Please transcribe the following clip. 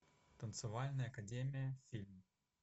танцевальная академия фильм